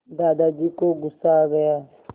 दादाजी को गुस्सा आ गया